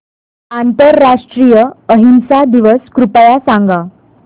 आंतरराष्ट्रीय अहिंसा दिवस कृपया सांगा